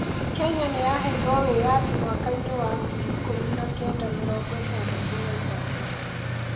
Kenya yaheirwo wĩyathi mwaka-inĩ wa ngiri ikũmi na kenda mĩrongo ĩtandatũ na ithatũ.